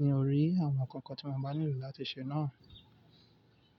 ní orí àwọn ǹkan kan tí mo bá nílò láti ṣe náà.